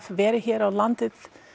verið hér á landi